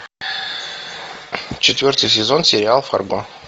четвертый сезон сериал фарго